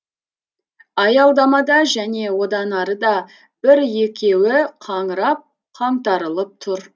аялдамада және одан арыда бір екеуі қаңырап қаңтарылып тұр